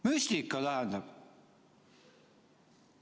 Müstika, tähendab.